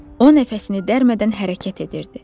O nəfəsini dərmədən hərəkət edirdi.